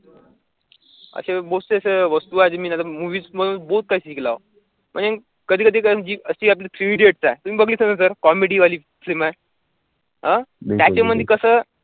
असे वस्तू आहेत, जी मी त्याच्यातून movies मधून काही शिकलावं, म्हणजे कधी कधी sir जी अशी आपली three idiots आहे, तुम्ही बघिली होती ना sir comedy वाली film आहे अं त्याच्यामधी कसं